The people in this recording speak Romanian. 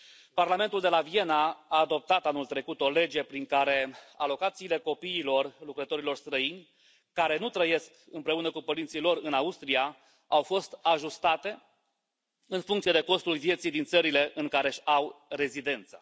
Parlamentul de la Viena a adoptat anul trecut o lege prin care alocațiile copiilor lucrătorilor străini, care nu trăiesc împreună cu părinții lor în Austria, au fost ajustate în funcție de costul vieții din țările în care își au rezidența.